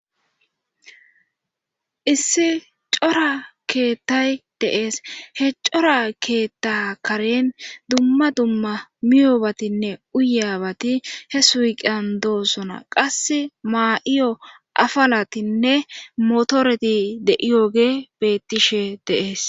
Issi cora keettay deees he cora keetta karen dumma dumma miyoobatinne uyabati he suiqan doosona qass maa7iyo afalatinne motoreti de7iyoge bettishe dees.